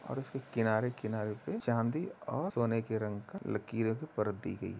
और इसके किनारे-किनारे पे चांदी और सोने के रंग का लकीरें परत दी गई है।